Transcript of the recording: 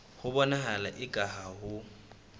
ho bonahala eka ha ho